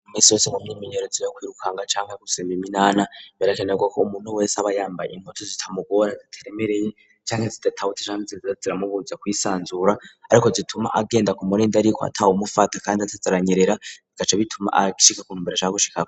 Misi yose mu myiminerozo yo kwirukanga cangwa yo gusimba iminana birakenerwa ko umuntu wese aba yambaye impuzu zitamugora zitaremereye cangwe zidatabutse canke zitaza ziramubuza kwisanzura ariko zituma agenda kumurindi ariko atawumufata kandi ataja aranyerera bigaca bituma ashika ku ntumbera ashaka gushikako.